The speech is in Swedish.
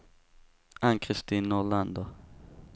Ann-Kristin Nordlander